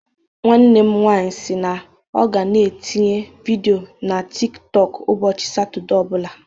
Nwanne m nwanyị si na ọ ga-na etinye vidio na tik tọk ụbọchị Satọde ọ bụla